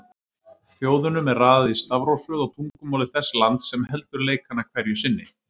Þjóðunum er raðað í stafrófsröð á tungumáli þess lands sem heldur leikana hverju sinni.